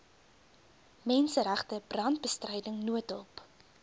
menseregte brandbestryding noodhulp